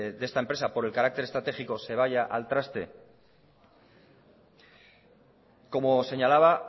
de esta empresa por el carácter estratégico se vaya al traste como señalaba